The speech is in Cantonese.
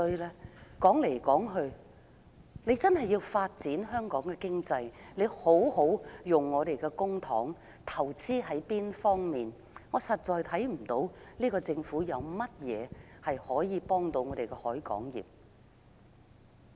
如果真的要發展香港經濟，政府便應善用公帑進行投資，但我實在看不到這個政府有何措施，協助本港海運業的發展。